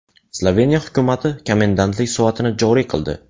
Sloveniya hukumati komendantlik soatini joriy qildi.